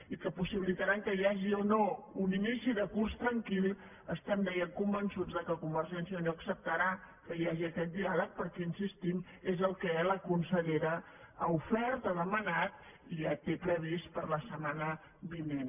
i que possibilitaran que hi hagi o no un inici de curs tranquil estem deia convençuts que convergència i unió acceptarà que hi hagi aquest diàleg perquè hi insistim és el que la consellera ha ofert ha demanat i ja té previst per a la setmana vinent